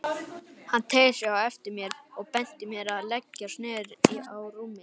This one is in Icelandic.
Hann teygði sig eftir mér og benti mér að leggjast niður á rúmið.